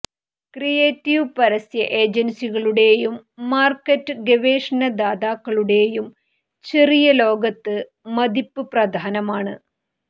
creative പരസ്യ ഏജൻസികളുടെയും market ഗവേഷണ ദാതാക്കളുടെയും ചെറിയ ലോകത്ത് മതിപ്പ് പ്രധാനമാണ്